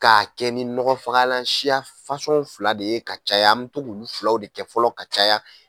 K'a kɛ ni nɔgɔ fagalan siya fasɔn fila de ye ka caya, an bɛ to k'olu fila de kɛ fɔlɔ ka caya.